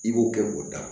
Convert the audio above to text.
I b'o kɛ k'o da